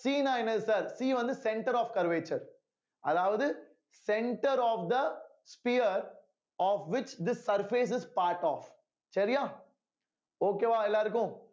C ன்னா C வந்து center of curvature அதாவது center of the sphere of which this surface is part of சரியா okay வா எல்லாருக்கும்